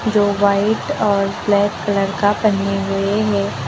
दो व्हाइट और black colour का पहने हुए हैं।